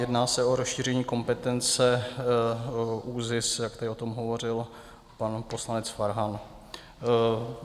Jedná se o rozšíření kompetence ÚZIS, jak tady o tom hovořil pan poslanec Farhan.